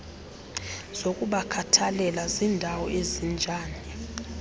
zokubakhathalela zindawo ezinjani